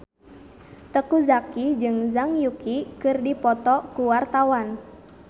Teuku Zacky jeung Zhang Yuqi keur dipoto ku wartawan